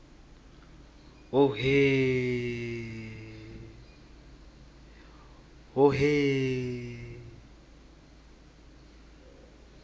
hhohhe